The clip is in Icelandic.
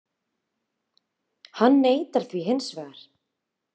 Hann neitar því hins vegar